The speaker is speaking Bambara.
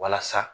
Walasa